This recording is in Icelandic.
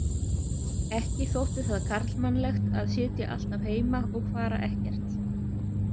Ekki þótti það karlmannlegt að sitja alltaf heima og fara ekkert.